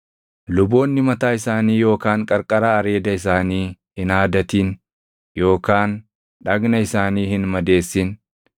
“ ‘Luboonni mataa isaanii yookaan qarqara areeda isaanii hin haadatin yookaan dhagna isaanii hin madeessin.